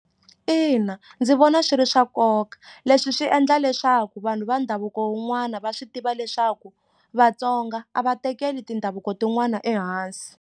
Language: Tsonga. Ina ndzi vona swi ri swa nkoka leswi swi endla leswaku vanhu va ndhavuko wun'wana va swi tiva leswaku Vatsonga a va tekeli tindhavuko tin'wani ehansi.